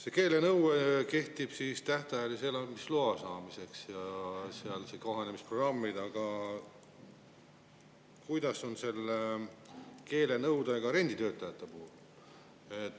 See keelenõue ja kohanemisprogrammid kehtivad siis tähtajalise elamisloa saamiseks, aga kuidas on keelenõudega renditöötajate puhul?